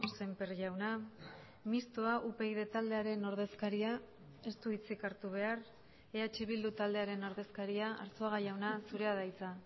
sémper jauna mistoa upyd taldearen ordezkaria ez du hitzik hartu behar eh bildu taldearen ordezkaria arzuaga jauna zurea da hitza